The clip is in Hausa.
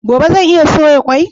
Gobe zan iya soya kwai?